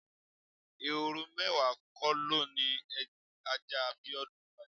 Ehoro mé̩wàá ko lo ni ajá Bíó̩dún pa je̩?